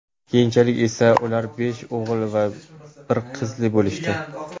Keyinchalik esa ular besh o‘g‘il va bir qizli bo‘lishdi.